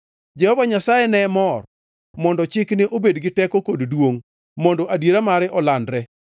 Jehova Nyasaye ne mor mondo chikne obed gi teko kod duongʼ, mondo adiera mare olandre.